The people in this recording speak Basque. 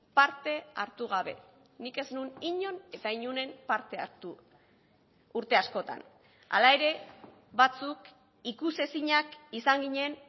parte hartu gabe nik ez nuen inon eta inoren parte hartu urte askotan hala ere batzuk ikusezinak izan ginen